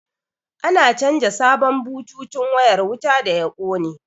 An canja sabon bututun wayar wuta da ya kone